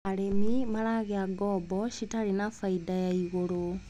Arĩmi maragĩa ngombo citarĩ na bainda ya igũrũ.